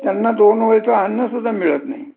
त्यांना दोन वेळेच अन्न सुद्धा मिळत नाही